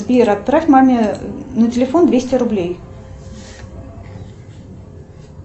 сбер отправь маме на телефон двести рублей